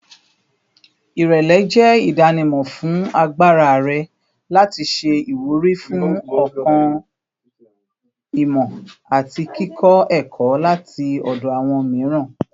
Irẹlẹ jẹ idanimọ fun agbara rẹ lati ṣe iwuri fun ọkan-ìmọ ati kikọ ẹkọ lati ọdọ awọn miiran